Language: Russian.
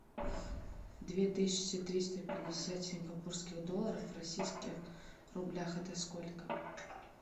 две тысячи триста пятьдесят сингапурских долларов в российских рублях это сколько